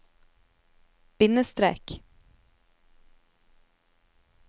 bindestrek